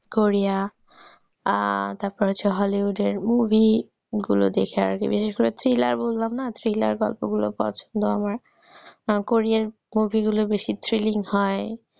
Korea আহ তারপরে হচ্ছে hollywood এর movie গুলো দেখে আর কি বিশেষ করে thriller বললাম না thriller গল্প গুলো পছন্দ আমার korean movie গুলো বেশি thrilling হয়,